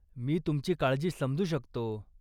मी तुमची काळजी समजू शकतो.